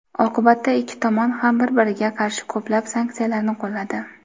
Oqibatda ikki tomon ham bir-biriga qarshi ko‘plab sanksiyalarni qo‘lladi.